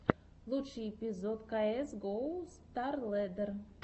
лучший эпизод каэс гоу старлэддер